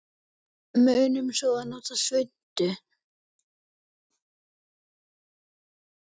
Munum svo að nota svuntu.